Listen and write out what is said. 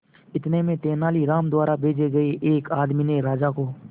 इतने में तेनालीराम द्वारा भेजे गए एक आदमी ने राजा को